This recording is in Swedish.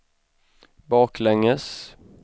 baklänges